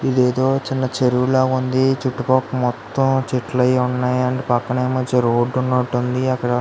ఇది ఏదో చిన్న చెరువులగా వుంది చుట్టుపక్కల మొతం చెట్లు అవి వున్నాయ్ అండ్ పక్కన ఏమో చెరువు వాడ్డ్డు వున్నటు వుంది అక్కడ --